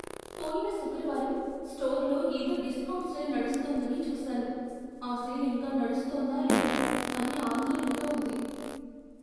పోయిన శుక్రవారం స్టోర్లో ఏదో డిస్కౌంట్ సేల్ నడుస్తోందని చూశాను. ఆ సేల్ ఇంకా నడుస్తోందా లేదా అని ఆందోళనగా ఉంది.